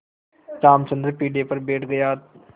रामचंद्र पीढ़े पर बैठ गया